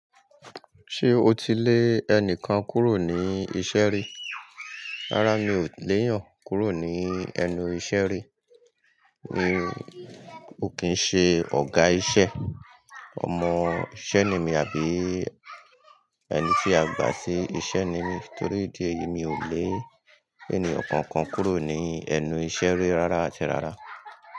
Ṣé o ti lé ẹnìkan kúrò ní iṣẹ́ rí? Rárá mi ò lè yàn kúrò ní ẹnu iṣẹ́ rí. Mi ò kín ṣe ọ̀gá iṣẹ́, ọmọ iṣẹ́ le mí àbí ẹni tí a gbà sí iṣẹ́ ni mí torí ìdí èyí mi ò lè ènìyàn kankan kúrò ní ẹnu iṣẹ́ rí rárá àti rárá.